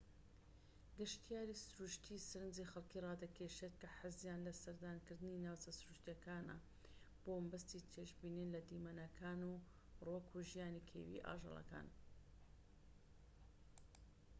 گەشتیاریی سروشتیی سەرنجی خەلکی رادەکێشێت کە حەزیان لە سەردانکردنی ناوچە سروشتیەکانە بۆ مەبەستی چێژبینین لە دیمەنەکان و ڕووەك و ژیانی کێویی ئاژەڵەکان